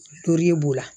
Tori b'o la